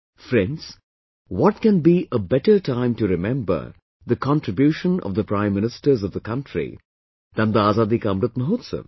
Friends, what can be a better time to remember the contribution of the Prime Ministers of the country than the Azadi ka Amrit Mahotsav